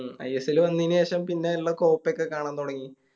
ISL വന്നേന് ശേഷം പിന്നെ എല്ലാ Coppa ഒക്കെ കാണാ തൊടങ്ങി